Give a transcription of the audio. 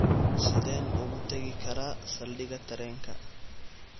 Sideen ugu tagi karaa saldhigga tareenka?